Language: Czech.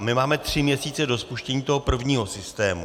A my máme tři měsíce do spuštění toho prvního systému.